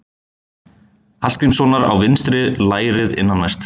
Hallgrímssonar á vinstra lærið innanvert.